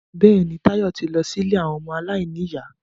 Bẹ́ẹ̀ni, Táyọ̀ ti lọ sí ilé àwọn ọmọ aláìníyà